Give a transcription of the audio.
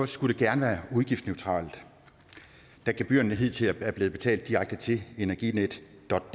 skulle det gerne være udgiftsneutralt da gebyrerne hidtil er blevet betalt direkte til energinetdk